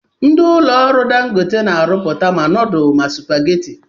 Ndi ụlọ ọrụ Dangote na-arụpụta ma nudul ma supageti.